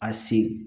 A se